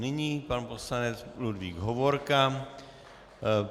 Nyní pan poslanec Ludvík Hovorka.